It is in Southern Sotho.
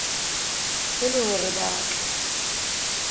e le hore ba tle